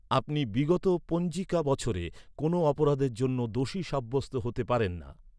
আপনি বিগত পঞ্জিকা বছরে কোনো অপরাধের জন্য দোষী সাব্যস্ত হতে পারেন না।